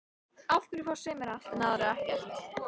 Af hverju fá sumir allt en aðrir ekkert?